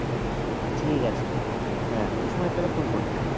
ঠিক আছে, আমি সময় পেলে phone করে নেব